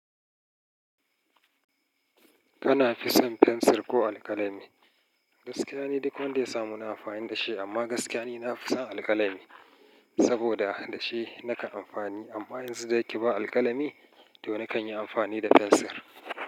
Kana fi son fensir ko alkalami? Gaskiya ni duk wanda ya samu ina amfani da shi, amma gaskiya ni na fi son alkalami saboda da shi nake amfani. Amma yanzu da ya ke ba alkalami, toh nakan yi amfani da fensir.